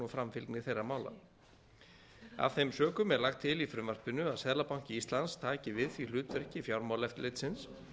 framfylgni þeirra mála af þeim sökum er lagt til í frumvarpinu að seðlabanki íslands taki við því hlutverki fjármálaeftirlitsins